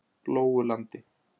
Lóulandi